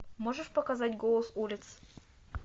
можешь показать голос улиц